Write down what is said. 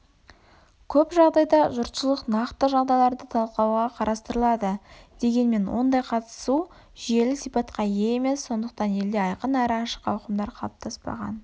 көп жағдайда жұртшылық нақты жағдайларды талқылауға қатыстырылады дегенмен ондай қатысу жүйелі сипатқа ие емес сондықтан елде айқын әрі ашық ауқымдар қалыптаспаған